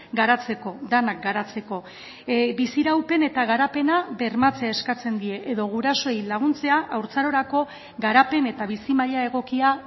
garatzeko denak garatzeko biziraupen eta garapena bermatzea eskatzen die edo gurasoei laguntzea haurtzarorako garapen eta bizi maila egokia